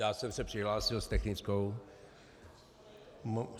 Já jsem se přihlásil s technickou.